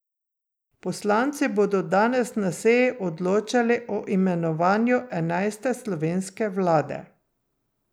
Poslanci bodo danes na seji odločali o imenovanju enajste slovenske vlade.